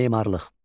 Memarlıq.